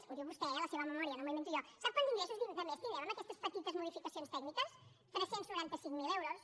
ho diu vostè eh a la seva memòria no m’ho invento jo sap quants ingressos de més tindrem amb aquestes petites modificacions tècniques tres cents noranta cinc mil euros